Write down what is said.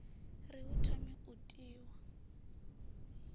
ri hu thome u tiwa